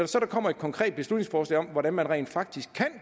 så kommer et konkret beslutningsforslag om hvordan man rent faktisk kan